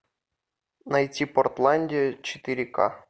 найти портландия четыре ка